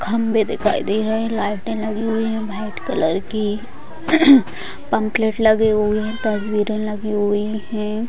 खंबे दिखाई दे रहे हैं। लाइटें लगी हुई हैं भाईट कलर की। पंपलेट लगे हुए हैं तस्वीरें लगी हुई हैं।